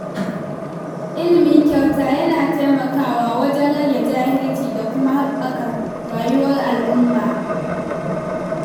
Ilimi kyauta yana taimakawa wajen rage jahilci da kuma haɓaka rayuwar al'umma.